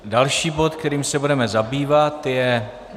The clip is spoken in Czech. Další bod, kterým se budeme zabývat, je